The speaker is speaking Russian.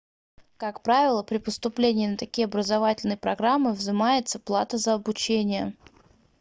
как правило при поступлении на такие образовательные программы взимается плата за обучение